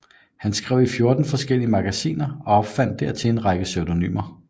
Han skrev i fjorten forskellige magasiner og opfandt dertil en række pseudonymer